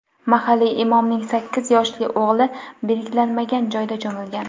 Mahalliy imomning sakkiz yoshli o‘g‘li belgilanmagan joyda cho‘milgan.